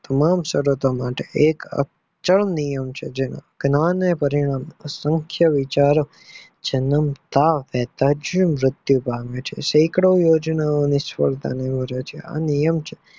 તમારી સરતો માટે એક અચલ નિયમ છે જેનું જ્ઞાન અને પાણિનામ અસંખ્ય વિચારો જન્મતાંજ વેંતજ મુત્યુ પામે છે સેકન્ડો યોજનાઓ નિક્ષફળતા નીવડે છે આ નિયમ છે.